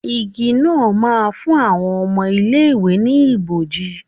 Igi náà ma ń fún àwọn ọmọ ilé ìwé ni ibòji.